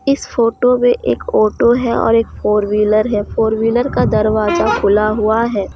इस फोटो में एक ऑटो है और एक फोर व्हीलर है फोर व्हीलर का दरवाजा खुला हुआ है।